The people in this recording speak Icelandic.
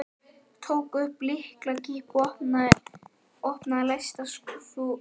Tók upp lyklakippu og opnaði læsta skúffu í honum.